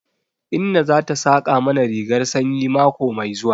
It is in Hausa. Inna za ta saƙa mana rigar sanyi mako mai zuwa.